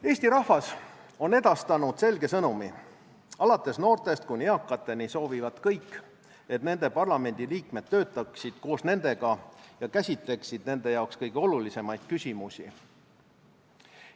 Eesti rahvas on edastanud selge sõnumi: alates noortest kuni eakateni soovivad kõik, et nende parlamendiliikmed töötaksid koos nendega ja käsitleksid nende jaoks kõige olulisemaid küsimusi.